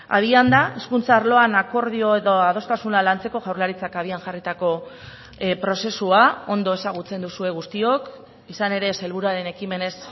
abian da hezkuntza arloan akordio edo adostasuna lantzeko jaurlaritzak abian jarritako prozesua ondo ezagutzen duzue guztiok izan ere sailburuaren ekimenez